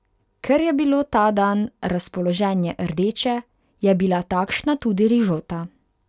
Ker je bilo ta dan razpoloženje rdeče, je bila takšna tudi rižota.